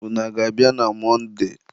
ụnụ a ga-abịa na Mọnde?